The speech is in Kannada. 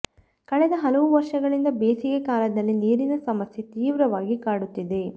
ಕಳೆದ ಹಲವು ವರ್ಷಗಳಿಂದ ಬೇಸಿಗೆ ಕಾಲದಲ್ಲಿ ನೀರಿನ ಸಮಸ್ಯೆ ತೀವ್ರವಾಗಿ ಕಾಡುತ್ತಿದೆ